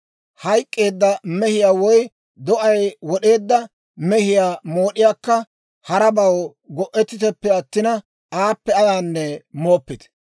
Hayk'k'eedda mehiyaa woy do'ay wod'eedda mehiyaa mood'iyaakka harabaw go'ettiteppe attina, aappe ayaanne mooppite.